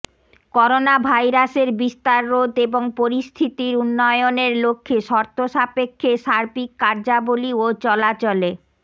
করোনাভাইরাসের বিস্তার রোধ এবং পরিস্থিতির উন্নয়নের লক্ষ্যে শর্তসাপেক্ষে সার্বিক কার্যাবলি ও চলাচলে